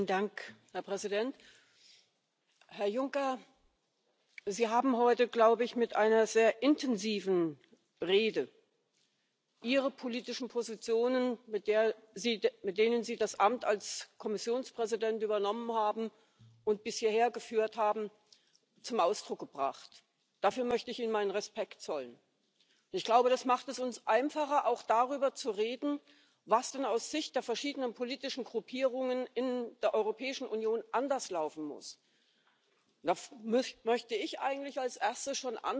blockiert und dass er einfach denkt, machen zu können, was er will, und einfach in Untätigkeit schweigt. Und was wir von der Kommission erwarten, das ist meine dringende Bitte Sagen Sie es jeweils laut. Es hilft den Menschen und vielen bewusst schauenden, auch auf die Entwicklung schauenden Akteuren, Aktivistinnen in Europa überhaupt nicht, wenn sie gar nicht wissen, wo die Ursachen liegen